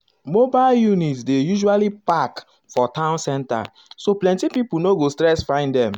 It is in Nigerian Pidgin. mobile units dey usually park for town center so plenty pipo no go stress find them. um